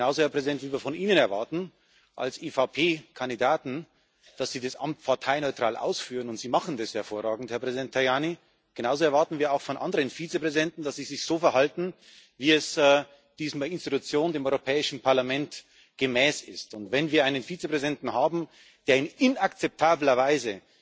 Genauso, Herr Präsident, wie wir von Ihnen als EVP Kandidaten erwarten, dass Sie das Amt parteineutral ausführen und Sie machen das hervorragend, Herr Präsident Tajani genauso erwarten wir auch von anderen Vizepräsidenten, dass sie sich so verhalten, wie es dieser Institution, dem Europäischen Parlament, gemäß ist. Wenn wir einen Vizepräsidenten haben, der in inakzeptabler Weise